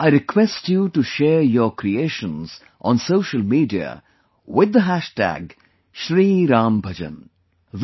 I request you to share your creations on social media with the hashtag Shri Ram Bhajan shriRamBhajan